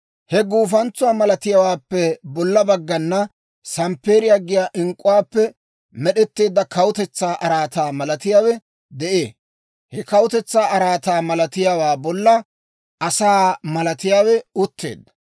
He guufantsuwaa malatiyaawaappe bolla baggana samppeeriyaa giyaa ink'k'uwaappe med'etteedda kawutetsaa araataa malatiyaawe de'ee; he kawutetsaa araataa malatiyaawaa bolla asaa malatiyaawe utteedda.